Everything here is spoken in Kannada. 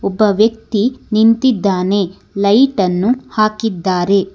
ಒಬ್ಬ ವ್ಯಕ್ತಿ ನಿಂತಿದ್ದಾನೆ ಲೈಟ್ ಅನ್ನು ಹಾಕಿದ್ದಾರೆ.